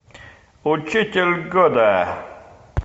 учитель года